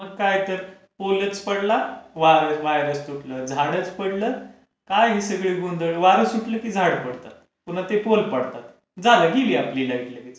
मग काय तर! पोलच पडला, वायरच तुटला, झाडच पडलं, काय हे सगळं गोंधळ? वारं सुटलं की झाड पडतं. पुन्हा ते पोल पडतात. झालं गेली आपली लाईट लगेच.